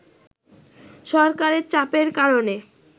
সরকারের চাপের কারণে